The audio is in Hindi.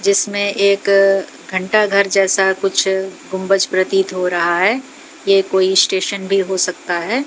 जिसमें एक घंटा घर जैसा कुछ गुंबज प्रतीत हो रहा है ये कोई स्टेशन भी हो सकता है।